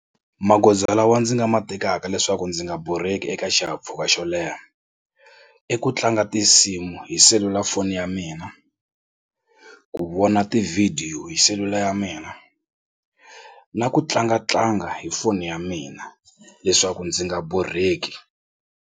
Magoza lawa ndzi nga ma tekaka leswaku ndzi nga borheki eka xihahampfhuka xo leha i ku tlanga tinsimu hi selulafoni ya mina ku vona tivhidiyo hi selula ya mina na ku tlangatlanga hi foni ya mina leswaku ndzi nga borheki.